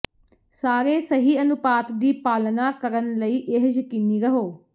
ਸਾਰੇ ਸਹੀ ਅਨੁਪਾਤ ਦੀ ਪਾਲਣਾ ਕਰਨ ਲਈ ਇਹ ਯਕੀਨੀ ਰਹੋ